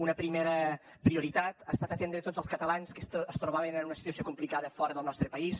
una primera prioritat ha estat atendre tots els catalans que es trobaven en una situació complicada fora del nostre país